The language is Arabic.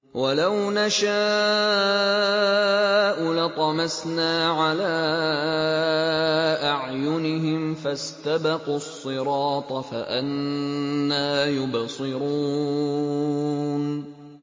وَلَوْ نَشَاءُ لَطَمَسْنَا عَلَىٰ أَعْيُنِهِمْ فَاسْتَبَقُوا الصِّرَاطَ فَأَنَّىٰ يُبْصِرُونَ